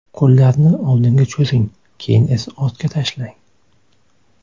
Qo‘llarni oldinga cho‘zing, keyin esa ortga tashlang.